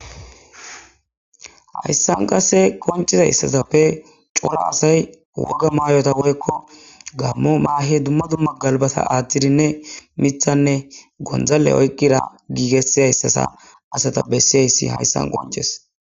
hayssan qase konciza issasappe cora asay woga maayota woykko gammo maahe dumma dumma galbata aadhdidinne mithanne gondzale oyqqira giigesizayssasa asata bessiyayssi hayssan qonces